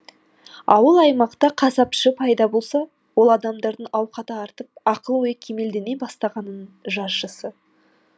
ауыл аймақта қасапшы пайда болса ол адамдардың ауқаты артып ақыл ойы кемелдене бастағанының жаршысы